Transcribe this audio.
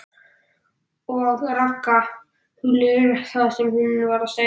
OG RAGGA, hugleiðir það sem hún var að segja.